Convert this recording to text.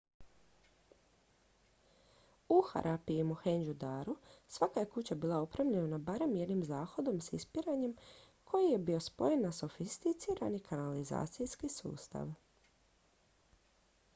u harappi i mohendžu daru svaka je kuća bila opremljena barem jednim zahodom s ispiranjem koji je bio spojen na sofisticirani kanalizacijski sustav